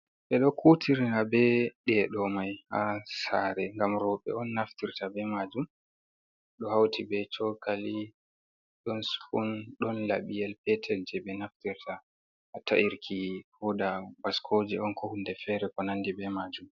Be do kutirna be dedo mai ha sare gam roɓe on naftirta be majum ,do hauti be chokali don spoon don labiyel peter je be naftirta ha ta’irki huda basco je on ko hunde fere ko nandi be majum..